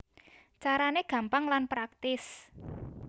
Carané gampang lan praktis